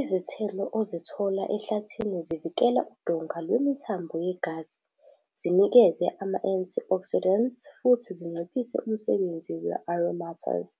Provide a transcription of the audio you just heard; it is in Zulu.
Izithelo ozithola ehlathini zivikela udonga lwemithambo yegazi, zinikeze ama-antioxidants futhi zinciphise umsebenzi we-aromatase,